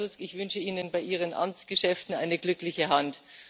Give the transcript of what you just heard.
Lieber Herr Tusk, ich wünsche Ihnen bei Ihren Amtsgeschäften eine glückliche Hand!